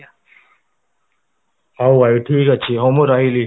ହଉ ଭାଇ ଠିକ ଅଛି ମୁଁ ରହିଲି